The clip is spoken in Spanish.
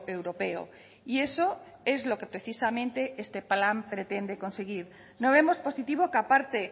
europeo y eso es lo que precisamente este plan pretende conseguir no vemos positivo que aparte